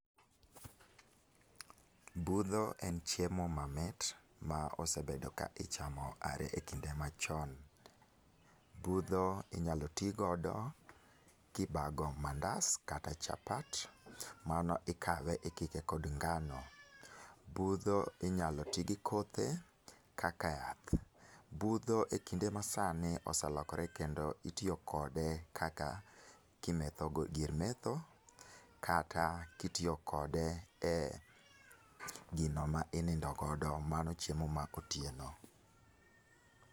Budho en chiemo mamit a ka ichamo are e kinde machon . Budho inya tigo kibago mandas kata chapat mano ikawo ikike kod ngano. Budho inya tigi kothe kaka yath . Budho e kinde ma sani oselokore kendo itiyo kode kaka kimetho gir metho kata kitiyo kode e gino ma inindo godo mano chiemo ma otieno.